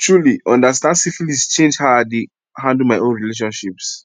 truely understand syphilis change how i dey handle my own relationships